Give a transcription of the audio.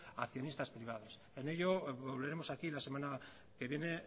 a accionistas privados en ello volveremos aquí la semana que viene